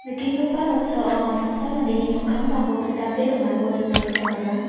nikenggipa noksao anga saksa mandeni mikkangtangko pindape donako nikna gita man·a.